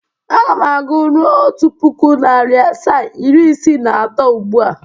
Aga m agụ ruo Otu puku, nari asaa, iri isiii na ato ugbụ a.